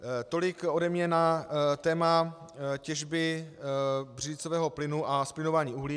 Tolik ode mě na téma těžby břidlicového plynu a zplyňování uhlí.